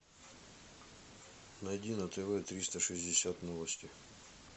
найди на тв триста шестьдесят новости